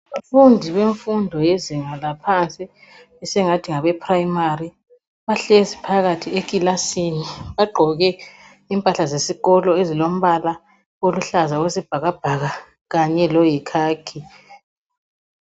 Abafundi bemfundo yezinga laphansi esingathi ngabeprimary bahlezi phakathi eklasini. Bagqoke impahla zesikolo ezilombala oluhlaza okwesibhakabhaka kanye loyikhakhi.